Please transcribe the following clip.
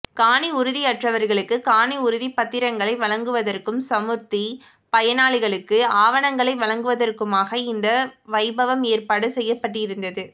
காணி உறுதி அற்றவர்களுக்கு காணி உறுதிப் பத்திரங்களை வழங்குவதற்கும் சமுர்த்தி பயனாளிகளுக்கு ஆவணங்களை வழங்குவதற்குமாக இந்த வைபவம் ஏற்பாடு செய்யப்பட்டிருந்தது